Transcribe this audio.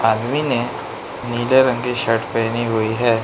आदमी ने नीले रंग की शर्ट पहनी हुई है।